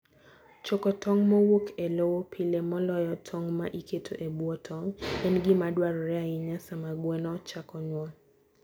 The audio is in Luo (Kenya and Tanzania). Choko tong' mowuok e lowo pile, moloyo tong' ma iketo e bwo tong', en gima dwarore ahinya sama gweno chako nyuol.